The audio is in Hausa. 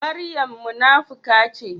Maryam munafuka ce?